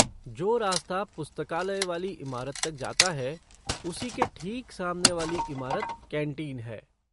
जो रास्ता पुस्तकालय वाली इमारत तक जाता है उसी के ठीक सामने वाली इमारत कैंटीन है।